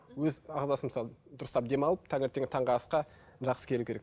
өз ағзасын мысалы дұрыстап демалып таңертеңгі таңғы асқа жақсы келу керек